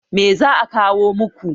Me za a kawo muku?